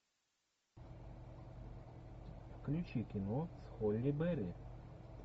включи кино с холли берри